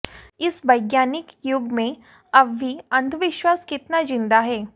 इस वैज्ञानिक युग में अब भी अंधविश्वास कितना जिंदा है